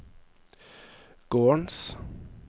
gårdens